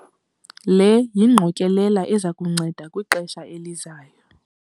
Le yingqokelela eza kunceda kwixesha elizayo.